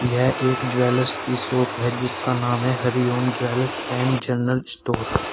यह एक ज्वेलर्स की शॉप है जिसका नाम है Hariom jewellers and general store.